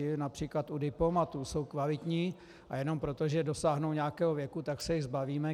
I například u diplomatů jsou kvalitní a jenom proto, že dosáhnou nějakého věku, tak se jich zbavíme.